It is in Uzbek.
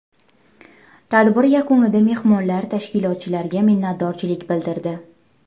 Tadbir yakunida mehmonlar tashkilotchilarga minnatdorlik bildirdi.